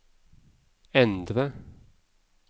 endre